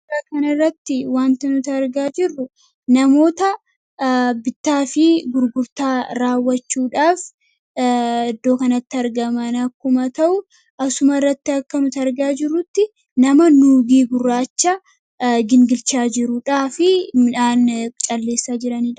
Suura kana irratti wanti nuti argaa jirru namoota bittaafi gurgurtaa raawwachuudhaaf iddoo kanatti argaaman yoo ta'u, asuma irratti akkuma nuti argaa jirru nama nuugii gurraacha gingishaa jiruufi midhaan calleessaa jiranidha.